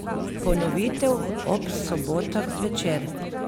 Ponovitev ob sobotah zvečer!